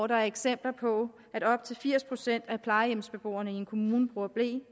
der eksempler på at op til firs procent af plejehjemsbeboerne i en kommune bruger ble